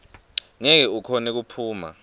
ngeke ukhone kuphuma